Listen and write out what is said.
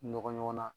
Nɔgɔnɲɔgɔn na